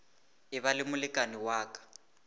eba le molekane wa ka